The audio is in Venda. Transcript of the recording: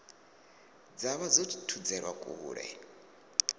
dza vha dzo thudzelwa kule